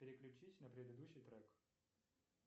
переключись на предыдущий трек